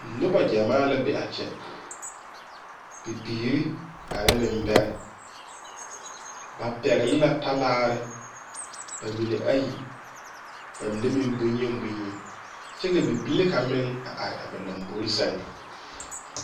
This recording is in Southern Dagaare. noba gyamaa la be a kye bibiire ane nebarɛ ba pɛgli la talaare ba mene ayi ba mene meŋ bonyeni bonyeni kyɛ ka bibilee kaŋ meŋ a are a ba lambore seŋ